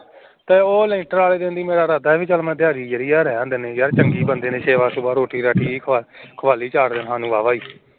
ਤੇ ਉਹ ਲੈਂਟਰ ਆਲੇ ਦਿਨ ਤੀ ਮੇਰਾ ਇਰਾਦਾ ਆ ਵੀ ਚੱਲ ਮੈ ਦਿਹਾੜੀ ਜੇੜੀ ਯਾਰ ਰਹਿਣ ਦੇਂਦੇ ਨੇ ਯਾਰ ਚੰਗੇ ਬੰਦੇ ਨੇ ਸੇਵਾ ਸੁਵਾ ਰੋਟੀ ਰਾਟੀ ਸਾਨੂ ਬਾਵਾ ਹੀ